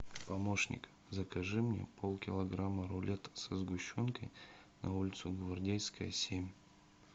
помощник закажи мне полкилограмма рулета со сгущенкой на улицу гвардейская семь